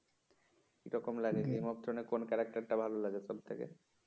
কিরকম লাগে? Game of thrones এর কোন টা ভাল লাগে সব থেকে?